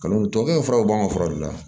tuwawukɛ furaw b'an ka fura de la